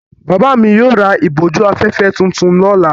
Bàbá mi yóò ra ìbòjú-afẹ́fẹ́ tuntun lọ́la.